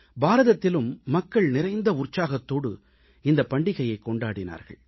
பாரதத்திலும் மக்கள் நிறைந்த உற்சாகத்தோடு இந்தப் பண்டிகையைக் கொண்டாடினார்கள்